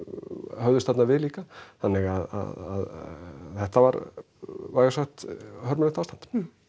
höfðust þarna við líka þannig að þetta var vægast sagt hörmulegt ástand